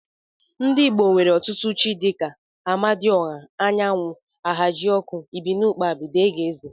Ndi igbo nwere otutu chi dika: amadi ọha, anyanwụ, ahiajoku ibiniụkpabi dgz.